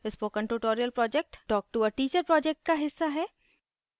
spoken tutorial project talktoa teacher project का हिस्सा है